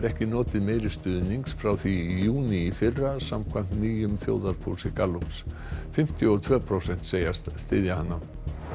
ekki notið meiri stuðnings frá því í júní í fyrra samkvæmt nýjum þjóðarpúlsi Gallups fimmtíu og tvö prósent segjast styðja hana